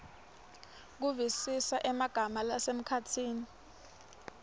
kuvisisa emagama lasemkhatsini